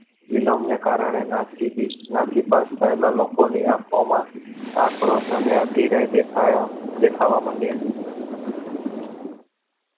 ફિલ્મને કારણે નાસિક નાસીપાસ થયેલા લોકો ની આંખો માં આક્રોશ અને અધીરાઈ દેખાયા દેખાવા માંડ્યા